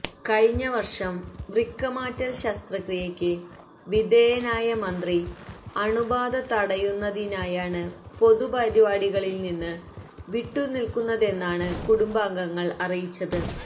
കഴിഞ്ഞവര്ഷം വൃക്കമാറ്റ ശസ്ത്രക്രിയക്ക് വിധേയനായ മന്ത്രി അണുബാധ തടയുന്നതിനായാണ് പൊതുപരിപാടികളില്നിന്ന് വിട്ടുനില്ക്കുന്നതെന്നാണ് കുടുംബാംഗങ്ങള് അറിയിച്ചത്